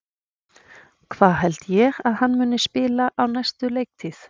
Hvar held ég að hann muni spila á næstu leiktíð?